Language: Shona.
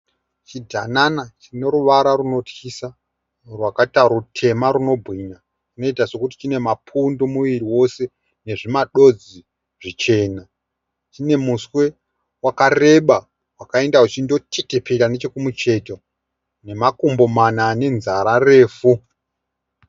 Chidhanana chine ruvara rwunotyisa rwakaita rutema rwunobwinya. Chinoita sokuti chine mapundu muviri wose nezvimadodzi zvichena. Chine muswe wakareba wakaenda uchindotetepera nechekumucheto nemakumbo mana ane nzara refu.